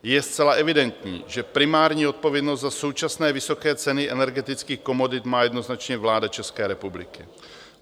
Je zcela evidentní, že primární odpovědnost za současné vysoké ceny energetických komodit má jednoznačně vláda České republiky.